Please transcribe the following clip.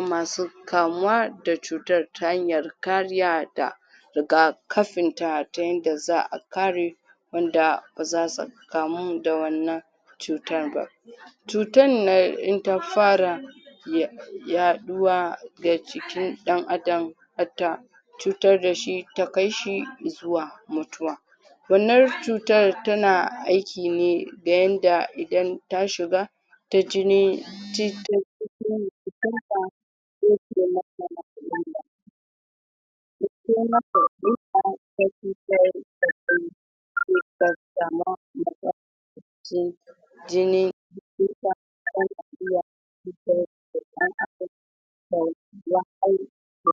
masu kamuwa da cutar ta hanyar kariya da rigakafin ta ta yanda za'a kare wanda ba zasu kamu da wannan cuta ba, cutan nan in ta fara yaɗuwa ga jikin ɗan Adam har ta cutar da shi ta kai shi zuwa mutuwa. Wannan cutar tana aiki ne da yanda idan ta shiga ta jini jini